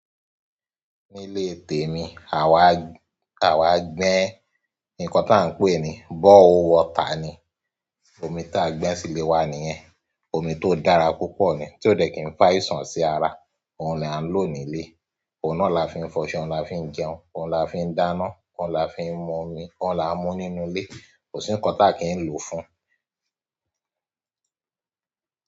Nílé tèmi, àwa, àwa gbẹ́ nǹkan táa ń pè ní bore hole water ni, omi ta à ń gbẹ́ sílé wa niyen. Omi tó dára púpọ̀ ni, tí ó dẹ̀ kin fá àìsàn sí ara. Ohun ni à ń lo nílé. Ohun náà la fi ń fọṣọ, ohun la fi ń jẹun, ohun la fi ń dáná, ohun la fi ń mu omi, ohun la n mú nínú ilé. Kò sí ńǹkan ta kí ń lò fún un.